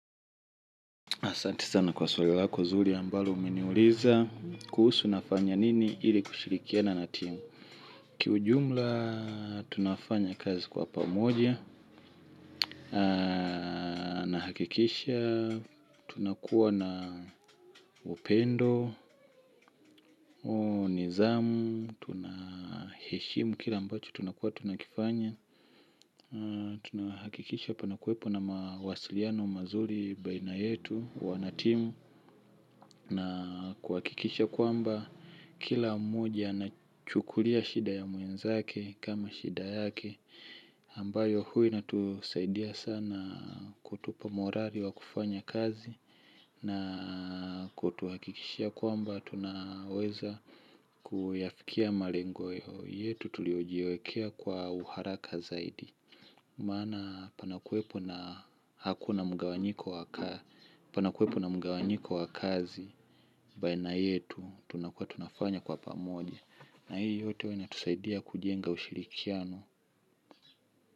Asanti sana kwa swali lako zuri ambalo umeniuliza kuhusu nafanya nini ili kushirikiana natimu. Kijumla tunafanya kazi kwa pamoja nahakikisha tunakuwa na upendo, nidhamu, heshimu, kile ambacho tunakuwa tunakifanya. Tunahakikisha panakwepo na mawasiliano mazuri baina yetu wanatimu. Na kuakikisha kwamba kila mmoja nachukulia shida ya muenzake kama shida yake ambayo huwa inatusaidia sana kutupa morali wa kufanya kazi. Na kutuhakikisha kwamba tunahweza kuyafikia malengo yetu tuliojiwekea kwa uharaka zaidi. Mana panakuwepo na hakuna mgawanyiko waka. Panakuwepo na mgawanyiko wakazi. Baina yetu tunakua tunafanya kwa pamoja. Na hii yote huwa inatusaidia kujenga ushirikiano.